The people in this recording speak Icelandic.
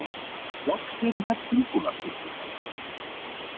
Loks eru þær tilbúnar systurnar.